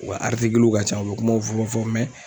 U ka ka ca ,u be kumaw fɔ fɔ